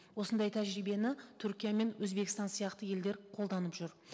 осындай тәжірибені түркия мен өзбекстан сияқты елдер қолданып жүр